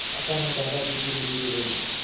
अचानक दादाजी धीरेधीरे बोले